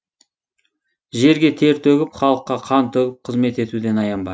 жерге тер төгіп халыққа қан төгіп қызмет етуден аянба